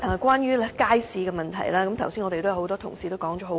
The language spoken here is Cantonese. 關於街市問題，多位同事剛才已說了很多。